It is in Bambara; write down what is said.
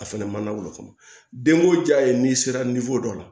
A fɛnɛ ma na wolo fɔlɔ den ko jaa ye n'i sera dɔ la